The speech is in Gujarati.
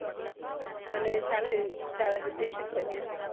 અને સારા બન્યા